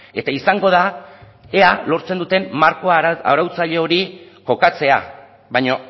eta izango da ea lortzen duten marko arautzaile hori kokatzea baina